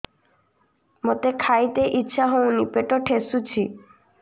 ମୋତେ ଖାଇତେ ଇଚ୍ଛା ହଉନି ପେଟ ଠେସୁଛି